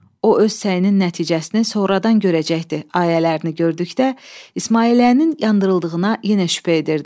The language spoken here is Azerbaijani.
O öz səyinin nəticəsini sonradan görəcəkdir" ayələrini gördükdə, İsmailliyənin yandırıldığına yenə şübhə edirdim.